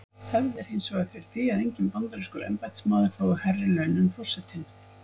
Hefð er hins vegar fyrir því að enginn bandarískur embættismaður fái hærri laun en forsetinn.